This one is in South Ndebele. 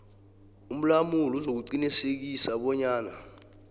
umlamuli uzakuqinisekisa bonyana